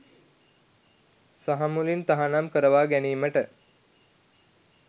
සහමුලින් තහනම් කරවා ගැනීමට